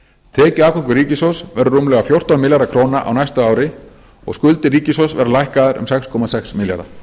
tekjuafgangur ríkissjóðs verður rúmlega fjórtán milljarðar króna á næsta ári og skuldir ríkissjóðs verða lækkaðar um sex komma sex milljarða